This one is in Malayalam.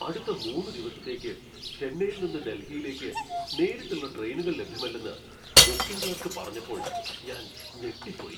അടുത്ത മൂന്ന് ദിവസത്തേക്ക് ചെന്നൈയിൽ നിന്ന് ഡൽഹിയിലേക്ക് നേരിട്ടുള്ള ട്രെയിനുകൾ ലഭ്യമല്ലെന്ന് ബുക്കിംഗ് ക്ലർക്ക് പറഞ്ഞപ്പോൾ ഞാൻ ഞെട്ടിപ്പോയി.